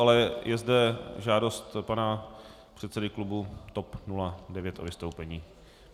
Ale je zde žádost pana předsedy klubu TOP 09 o vystoupení.